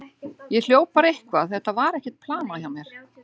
Ég hljóp bara eitthvað, þetta var ekkert planað hjá mér.